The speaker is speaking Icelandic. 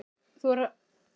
Bara pæling!